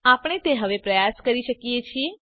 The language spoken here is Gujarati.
આપણે તે હવે પ્રયાસ કરી શકીએ છીએ